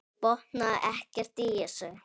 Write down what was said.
Botnaði ekkert í þessu.